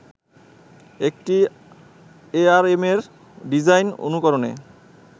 একটি এআরএমের ডিজাইন অনুকরণে